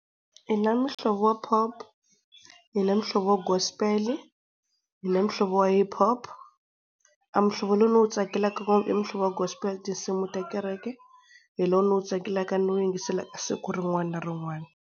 Hi na muhlovo wa Pop, hi na muhlovo wa Gospe, hi na muhlovo wa HipHop. A mihlovo lowu ni wu tsakelaka ngopfu i muhlovo wa gospel, tinsimu ta kereke hi lowu ndzi wu tsakelaka ni wu yingiselaka siku rin'wana na rin'wana.